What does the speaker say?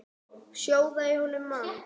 Sjóða í honum mann!